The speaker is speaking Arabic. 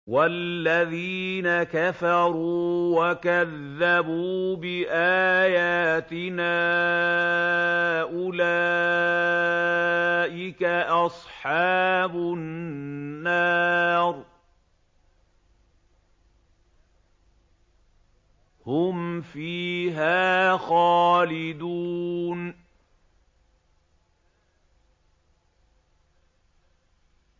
وَالَّذِينَ كَفَرُوا وَكَذَّبُوا بِآيَاتِنَا أُولَٰئِكَ أَصْحَابُ النَّارِ ۖ هُمْ فِيهَا خَالِدُونَ